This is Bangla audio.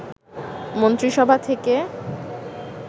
মন্ত্রিসভা থেকে